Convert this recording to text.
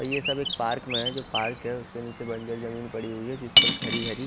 यह सभी एक पार्क में है जो पार्क है उसके निचे बड़ी बड़ी जमीन पड़ी हुई है जिस पर हरी हरी--